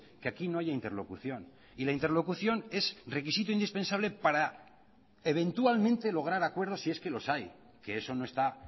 que aquí no haya interlocución y la interlocución es requisito indispensable para eventualmente lograr acuerdos si es que los hay que eso no está